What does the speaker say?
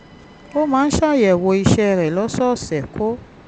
ó máa ń ṣàyẹ̀wò ìṣẹ́ rẹ̀ lọ́sọ̀ọ̀sẹ̀ kó